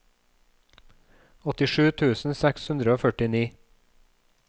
åttisju tusen seks hundre og førtini